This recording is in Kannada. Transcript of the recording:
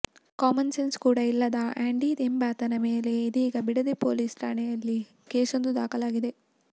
ಕಾಮನ್ಸೆನ್ಸ್ ಕೂಡಾ ಇಲ್ಲದ ಆಂಡಿಯೆಂಬಾತನ ಮೇಲೆ ಇದೀಗ ಬಿಡದಿ ಪೊಲೀಸ್ ಠಾಣೆಯಲ್ಲಿ ಕೇಸೊಂದು ದಾಖಲಾಗಿದೆ